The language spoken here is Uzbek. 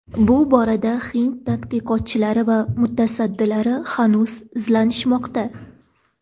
Bu borada hind tadqiqotchilari va mutasaddilari hanuz izlanishmoqda.